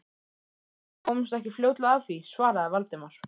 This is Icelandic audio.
Ætli við komumst ekki fljótlega að því- svaraði Valdimar.